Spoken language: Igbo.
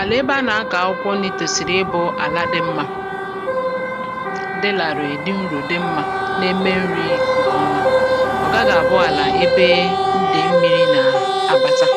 Àlà ebe a nà-akọ̀ akwụkwọ nni̇ tòsìrì ịbụ̇ àla dị mmȧ, dịlàrị̀ ị̀dị nrò dị mmȧ na-eme nri̇ ǹkè ọma, ọ̀ gaghị̇ àbụọ àlà ebe dị̀ mmi̇ri̇ nà-abàta